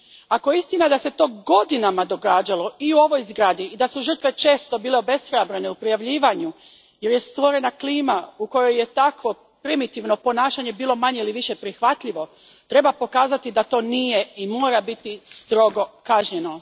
Ako je istina da se to godinama događalo i u ovoj zgradi i da su žrtve često bile obeshrabrene u prijavljivanju jer je stvorena klima u kojoj je takvo primitivno ponašanje bilo manje ili više prihvatljivo, treba pokazati da ono to nije i da mora biti strogo kažnjeno.